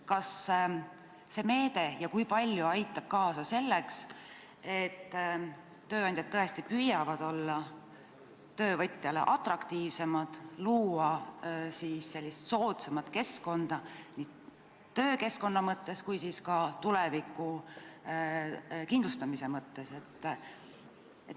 Kas see meede ja kui, siis kui palju aitab kaasa selleks, et tööandjad tõesti püüaksid olla töövõtjale atraktiivsemad, luua soodsamat keskkonda nii töökeskkonna kui ka tuleviku kindlustamise mõttes?